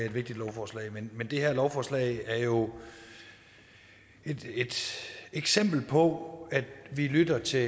et vigtigt lovforslag men det her lovforslag er jo et eksempel på at vi lytter til